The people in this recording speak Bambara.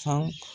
San